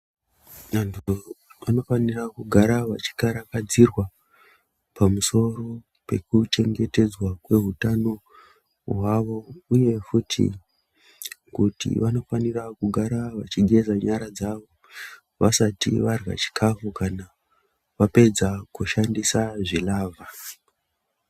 Vantu vanofanira kugara vachikarakadzirwa pamusoro pekuchengetedzwa kwehutano hwavo, uye futi kuti vanofanira kugara vechigeza nyara dzavo vasati varya chikafu kana vapedza kushandisa zvilavha.